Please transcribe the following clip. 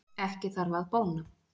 Ekki þarf að bóna